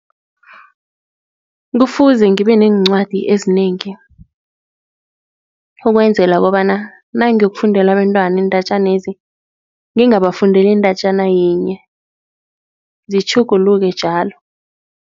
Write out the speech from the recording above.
Kufuze ngibe neencwadi ezinengi ukwenzela kobana nangiyokufundela abentwana iindatjanezi, ngingabafundeli iindatjana yinye, zitjhuguluke njalo.